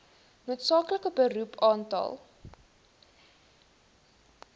noodsaaklike beroep aantal